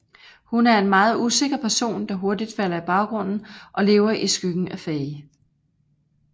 Hun er en meget usikker person der hurtigt falder i baggrunden og lever i skyggen af Faye